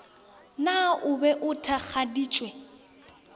na o be a thakgaditšwe